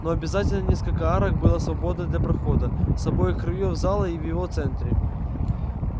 но обязательно несколько арок было свободно для прохода с обоих краёв зала и в его центре